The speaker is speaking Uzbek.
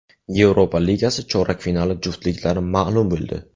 Yevropa Ligasi chorak finali juftliklari ma’lum bo‘ldi.